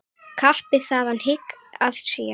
Kappi þaðan hygg að sé.